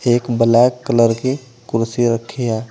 एक black colour के कुर्सी रखी है।